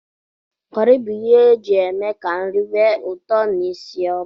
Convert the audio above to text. Kọri bụ ihe eji eme ka nri nwe ụtọ n'isi ọma.